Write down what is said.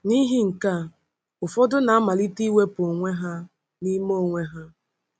N’ihi nke a, ụfọdụ na-amalite iwepu onwe ha n’ime onwe ha.